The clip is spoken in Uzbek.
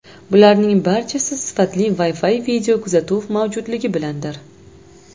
Bularning barchasi sifatli Wi-Fi videokuzatuv mavjudligi bilandir.